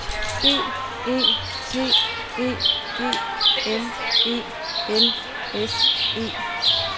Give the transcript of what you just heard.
B E T E G N E L S E